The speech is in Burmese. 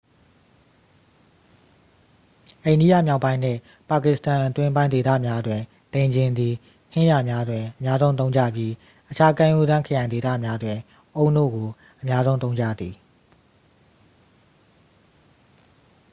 အိန္ဒိယမြောက်ပိုင်းနှင့် ပါကစ္စတန် အတွင်းပိုင်းဒေသများတွင် ဒိန်ချဉ်သည် ဟင်းလျာများတွင် အများဆုံးသုံးကြပြီး အခြားကမ်းရိုးတန်း ခရိုင်ဒေသများတွင် အုန်းနို့ကို အများဆုံးသုံးကြသည်